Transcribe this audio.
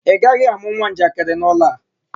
Ị gaghị amụ nwa njakịrị n'ụlọ a!